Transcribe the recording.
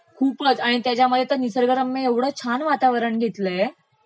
खूपचं आणि त्याच्यामध्ये निसर्गरम्य ऐवढं छान वातावरण घेतलयं.